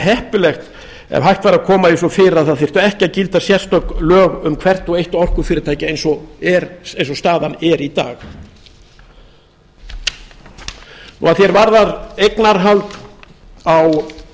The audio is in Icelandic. heppilegt ef hægt væri að koma því svo fyrir að ekki þyrftu að gilda sérstök lög um hvert og eitt orkufyrirtæki eins og staðan er í dag að því er varðar eignarhald á